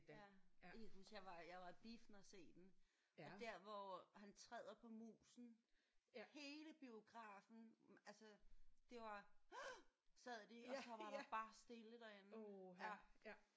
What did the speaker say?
Ja jeg kan huske jeg var jeg var i biffen at se den og der hvor han træder på musen hele biografen altså det var sad de og så var der bare stille derinde